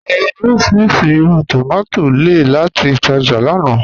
À rà orísíríṣí ìrù tómatì lẹ́ẹ̀ láti ìtàjá lána.